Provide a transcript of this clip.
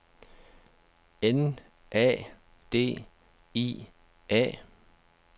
N A D I A